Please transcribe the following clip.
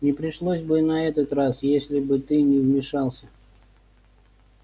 не пришлось бы и на этот раз если бы ты не вмешался